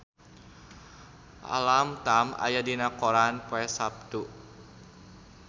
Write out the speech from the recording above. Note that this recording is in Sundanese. Alam Tam aya dina koran poe Saptu